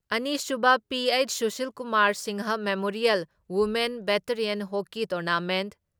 ꯑꯅꯤꯁꯨꯕ P H. Sushilkumar Singh memorial women veteran hockey tournament